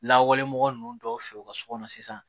Lawale mɔgɔ ninnu dɔw fɛ yen u ka so kɔnɔ sisan